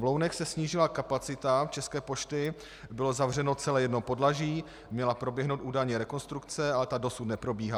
V Lounech se snížila kapacita České pošty, bylo zavřeno celé jedno podlaží, měla proběhnout údajně rekonstrukce, ale ta dosud neprobíhá.